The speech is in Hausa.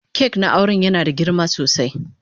kak na auren yana da girma sosai.